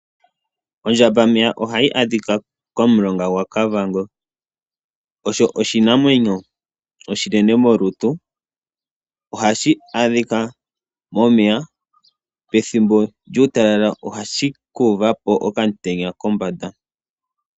Ondjambameya ohayi adhika komulonga gwaKavango . Osho oshinamwenyo oshinene molutu . Ohashi adhika momeya . Pethimbo lyuutalala ohashi ka uvapo okamutenya kombanda.